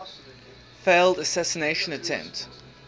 failed assassination attempt